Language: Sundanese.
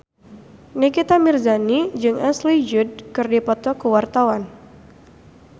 Nikita Mirzani jeung Ashley Judd keur dipoto ku wartawan